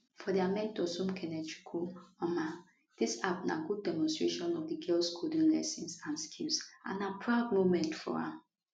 for dia mentor somkenechukwu mamah dis app na good demonstration of di girls coding lessons and skills and na proud moment for am